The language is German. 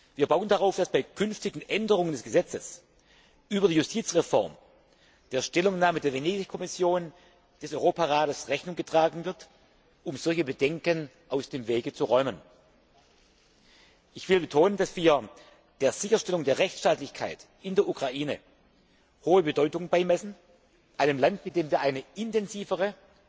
Wir bauen darauf, dass bei künftigen Änderungen des Gesetzes über die Justizreform der Stellungnahme der Venedig Kommission des Europarats Rechnung getragen wird, um solche Bedenken aus dem Weg zu räumen. Ich möchte betonen, dass wir der Sicherstellung der Rechtsstaatlichkeit in der Ukraine hohe Bedeutung beimessen, einem Land, mit dem wir eine intensivere,